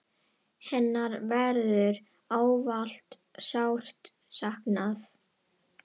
Hennar verður ávallt sárt saknað.